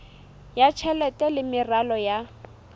ya tjhelete le meralo ya